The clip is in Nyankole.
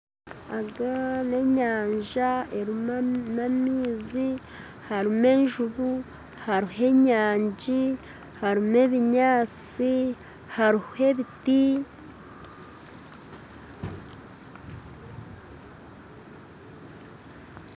Egi n'enyanja erimu amaizi, harimu enjuubu, hariho enyangi, harimu ebinyatsi hariho ebiti